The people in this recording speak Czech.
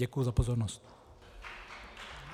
Děkuji za pozornost.